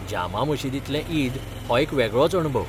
जामा मशीदींतलें ईद हो एक वेगळोच अणभव.